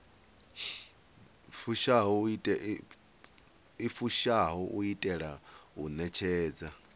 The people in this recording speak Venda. fushaho u itela u ṋetshedza